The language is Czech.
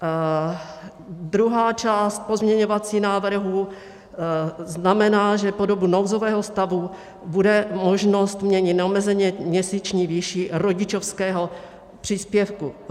Druhá část pozměňovacího návrhu znamená, že po dobu nouzového stavu bude možnost měnit neomezeně měsíční výši rodičovského příspěvku.